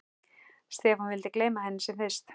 Stefán vildi gleyma henni sem fyrst.